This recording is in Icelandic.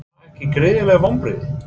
Voru það ekki gríðarleg vonbrigði?